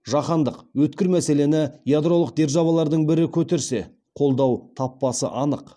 жаһандық өткір мәселені ядролық державалардың бірі көтерсе қолдау таппасы анық